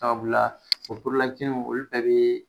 Sababu la o olu fɛnɛ bɛ